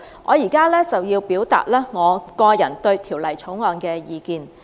我現在表達個人對《條例草案》的意見。